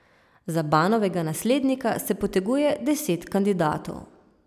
Za Banovega naslednika se poteguje deset kandidatov.